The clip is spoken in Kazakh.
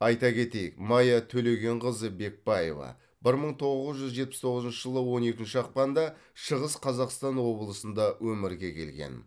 айта кетейік майя төлегенқызы бекбаева бір мың тоғыз жүз жетпіс тоғызыншы жылы он екінші ақпанда шығыс қазақстан облысында өмірге келген